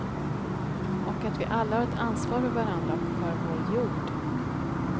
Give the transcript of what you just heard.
Och att vi alla har ett ansvar för varandra och för vår jod.